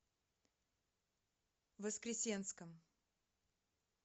воскресенском